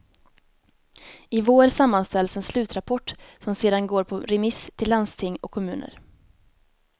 I vår sammanställs en slutrapport som sedan går på remiss till landsting och kommuner.